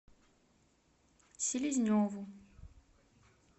селезневу